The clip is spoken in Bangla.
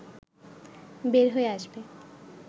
বের হয়ে আসবে